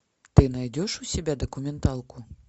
ты найдешь у себя документалку